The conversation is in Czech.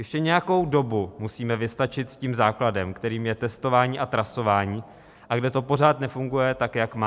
Ještě nějakou dobu musíme vystačit s tím základem, kterým je testování a trasování, a kde to pořád nefunguje tak, jak má.